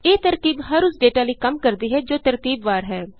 ਇਹ ਤਰਕੀਬ ਹਰ ਉਸ ਡੇਟਾ ਲਈ ਕੰਮ ਕਰਦੀ ਹੈ ਜੋ ਤਰਤੀਬਵਾਰ ਹੈ